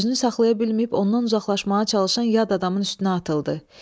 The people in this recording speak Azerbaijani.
Özünü saxlaya bilməyib ondan uzaqlaşmağa çalışan yad adamın üstünə atıldı.